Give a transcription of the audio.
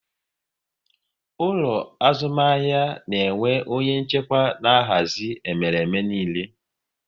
Ụlọ azụmahịa na-enwe onye nchịkwa na-ahazi emereme niile